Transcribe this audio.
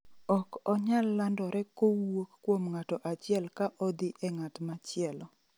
Ok onyal landore kowuok kuom ng'ato achiel ka odhi e ng'at machielo